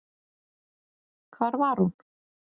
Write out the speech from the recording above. Hvar var hún?